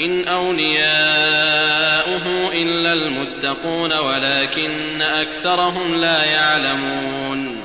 إِنْ أَوْلِيَاؤُهُ إِلَّا الْمُتَّقُونَ وَلَٰكِنَّ أَكْثَرَهُمْ لَا يَعْلَمُونَ